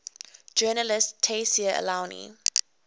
journalist tayseer allouni